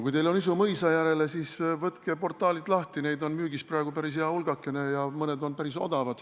Kui teil on isu mõisa järele, siis võtke portaalid lahti, neid on praegu müügis päris hea hulgake ja mõni on päris odav.